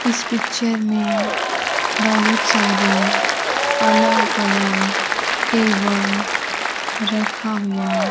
इस पिक्चर में बहुत सारे अलग अलग टेबल रखा हुआ--